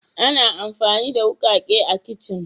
Ana amfani da wukake a kicin.